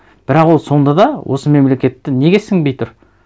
бірақ ол сонда да осы мемлекетті неге сіңбей тұр